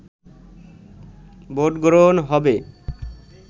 ভোটগ্রহণ হবে